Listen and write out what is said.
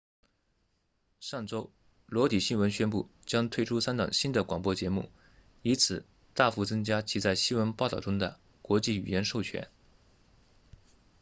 上周裸体新闻 naked news 宣布将推出三档新的广播节目以此大幅增加其在新闻报道中的国际语言授权